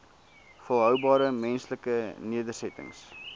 volhoubare menslike nedersettings